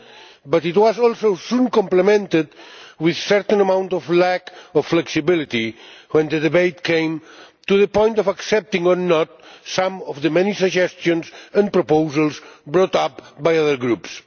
However, it was also soon complemented with a certain amount of lack of flexibility when the debate came to the point of accepting, or not, some of the many suggestions and proposals brought up by other groups.